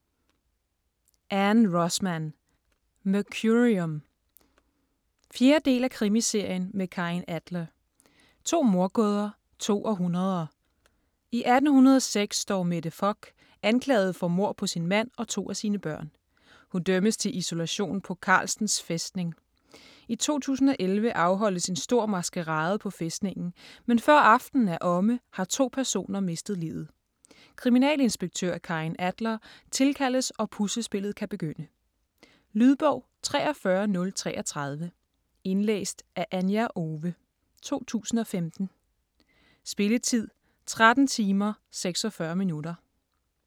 Rosman, Ann: Mercurium 4. del af Krimiserien med Karin Adler. To mordgåder. To århundreder. I 1806 står Mette Fock anklaget for mord på sin mand og to af sine børn. Hun dømmes til isolation på Carlstens fæstning. I 2011 afholdes en stor maskerade på fæstningen, men før aftenen er omme, har to personer mistet livet. Kriminalinspektør, Karin Adler tilkaldes og puslespillet kan begynde. Lydbog 43033 Indlæst af Anja Owe, 2015. Spilletid: 13 timer, 46 minutter.